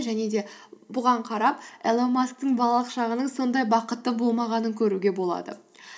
және де бұған қарап илон масктың балалық шағының сондай бақытты болмағанын көруге болады